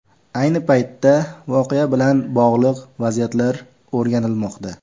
Ayni paytda voqea bilan bog‘liq vaziyatlar o‘rganilmoqda.